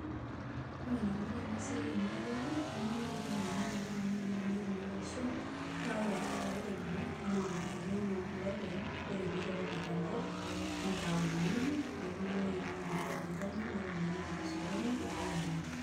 Ore enaikunari enasiai temurua ang, hoo nimikirem iyiok oleng amu mikirem oshi kuna kwashen, kake ore kuldo lairemo, naa ekeun olopeny ore piteru aiper enkop, nitauni nepiki ewoi mikunaji atoyu penyo, netumokini awaita osokoni pepoi amir.